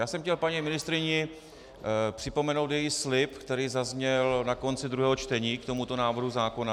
Já jsem chtěl paní ministryni připomenout její slib, který zazněl na konci druhého čtení k tomuto návrhu zákona...